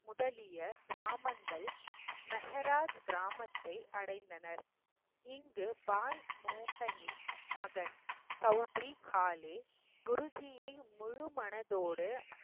முதலிய கிராமங்கள் மெஹராஜ் கிராமத்தை அடைந்தனர் இங்கு பாய் மோகனின் மகன் சவுதிரி காலே குருஜியை முழுமனதோடு